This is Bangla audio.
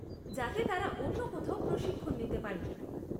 যাতে তারা অন্য কোথাও প্রশিক্ষণ নিতে পারে।